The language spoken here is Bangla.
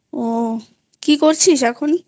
ও কি করছিস এখনxa0?